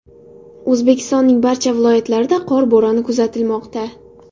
O‘zbekistonning barcha viloyatlarida qor bo‘roni kuzatilmoqda.